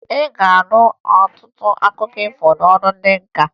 Ị ga-anụ ọtụtụ akụkọ ifo n'ọnụ ndị nka